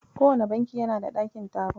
Kowane banki yana da ɗakin taro.